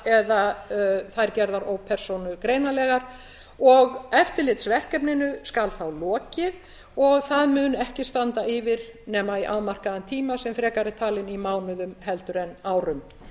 eða þær gerðar ópersónugreinanlegar og eftirlitsverkefninu skal þá lokið og það mun ekki standa yfir nema í afmarkaðan tíma sem frekar talinn í mánuðum en árum